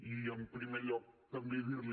i en primer lloc també dir li